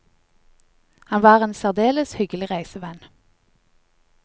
Han var en særdeles hyggelig reisevenn.